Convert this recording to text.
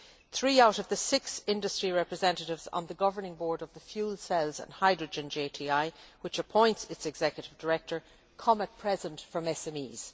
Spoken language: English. Three out of the six industry representatives on the governing board of the fuel cells and hydrogen JTI, which appoints its executive director, come at present from SMEs.